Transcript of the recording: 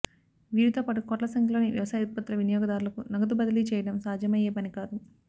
వీరితోపాటు కోట్ల సంఖ్యలోని వ్యవసాయ ఉత్పత్తుల వినియోగదారులకు నగదు బదిలీ చేయడం సాధ్యమయ్యే పనికాదు